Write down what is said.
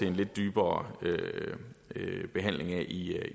en lidt dybere behandling af i